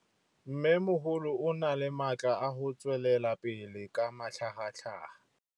Mmêmogolo o na le matla a go tswelela pele ka matlhagatlhaga.